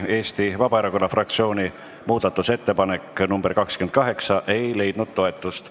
Eesti Vabaerakonna fraktsiooni muudatusettepanek nr 28 ei leidnud toetust.